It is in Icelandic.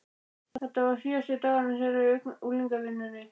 Þetta var síðasti dagurinn þeirra í unglingavinnunni.